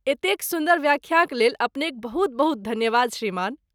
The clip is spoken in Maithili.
एतेक सुन्दर व्याख्याक लेल अपनेक बहुत बहुत धन्यवाद श्रीमान।